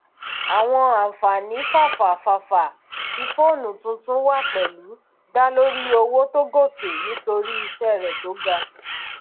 àwọn ànfàní fafa fafa tí foonu tuntun wá pẹlú dá lórí owo tó gòkè nítorí iṣẹ rẹ tó ga